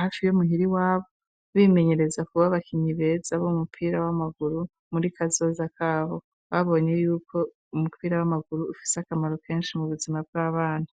hafi yo muhira iwabo, bimenyereza kuba abakinyi beza, b'umupira w'amaguru, muri kazoza kabo; babonye y'uko umupira, ufise akamaro kenshi, mu buzima bw'abana.